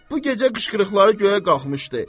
Bu gecə qışqırıqları göyə qalxmışdı.